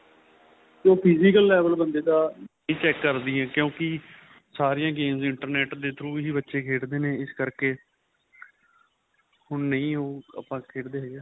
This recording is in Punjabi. ਉਹ physical level ਬੰਦੇ ਦਾਂ check ਕਰਦੀ ਏ ਕਿਉਂਕਿ ਸਾਰੀਆਂ games internet ਦੇ throw ਹੀ ਬੱਚੇ ਖੇਡਦੇ ਨੇ ਇਸ ਕਰਕੇ ਹੁਣ ਨਹੀਂ ਉਹ ਆਪਾ ਖੇਡਦੇ ਹੈਗੇ